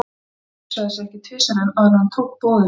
Úlfar hugsaði sig ekki tvisvar um, áður en hann tók boðinu frá